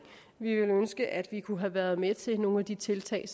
vi ville ønske at vi kunne have været med til nogle af de tiltag